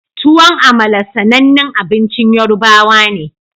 Tuwon amala sanannin abincin yorubawa ne